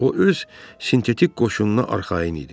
O öz sintetik qoşununa arxayın idi.